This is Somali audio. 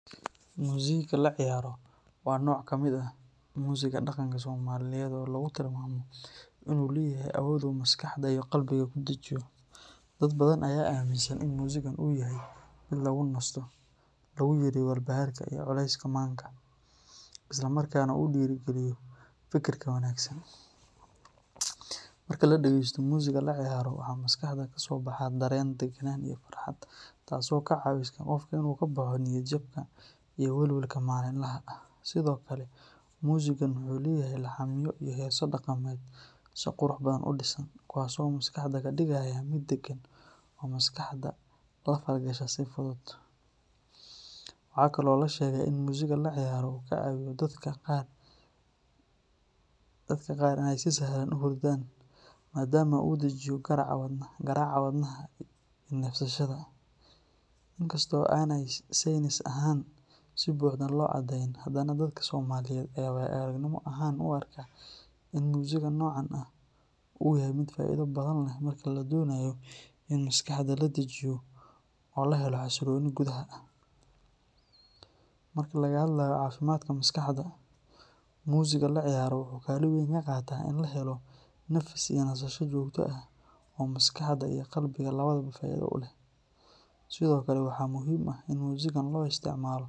Musiiga laciyaro waa nooc ka mid ah musiga dhaqanka Soomaaliyeed oo lagu tilmaamo inuu leeyahay awood uu maskaxda iyo qalbiga ku dejiyo. Dad badan ayaa aaminsan in musiigan uu yahay mid lagu nasto, lagu yareeyo walbahaarka iyo culayska maanka, isla markaana uu dhiirrigeliyo fikirka wanaagsan. Marka la dhegeysto musiiga laciyaro, waxaa maskaxda ka soo baxa dareen deganaan iyo farxad, taasoo ka caawisa qofka inuu ka baxo niyad-jabka iyo welwelka maalinlaha ah. Sidoo kale, musiigan wuxuu leeyahay laxamyo iyo heeso dhaqameed si qurux badan u dhisan, kuwaas oo maskaxda ka dhigaya mid degan oo maskaxda la falgasha si fudud. Waxaa kaloo la sheegaa in musiiga laciyaro uu ka caawiyo dadka qaar inay si sahlan u hurdaan, maadaama uu dejiyo garaaca wadnaha iyo neefsashada. Inkasta oo aanay saynis ahaan si buuxda loo caddeyn, haddana dadka Soomaaliyeed ayaa waayo-aragnimo ahaan u arka in musiiga noocan ah uu yahay mid faa’iido badan leh marka la doonayo in maskaxda la dejiyo oo la helo xasillooni gudaha ah. Marka laga hadlayo caafimaadka maskaxda, musiiga laciyaro wuxuu kaalin weyn ka qaataa in la helo nafis iyo nasasho joogto ah oo maskaxda iyo qalbiga labadaba faa’iido u leh. Sidoo kale, waxaa muhiim ah in musiigan loo isticmaalo.